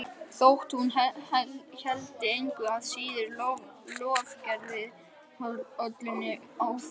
Þótt hún héldi engu að síður lofgerðarrollunni áfram.